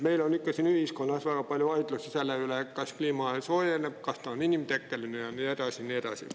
Meil on ühiskonnas olnud väga palju vaidlusi selle üle, kas kliima soojeneb, kas see on inimtekkeline ja nii edasi.